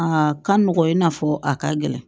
A ka nɔgɔn i n'a fɔ a ka gɛlɛn